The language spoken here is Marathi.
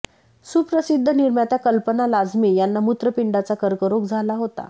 सुप्रसिद्ध निर्मात्या कल्पना लाजमी यांना मूत्रपिंडाचा कर्करोग झाला होता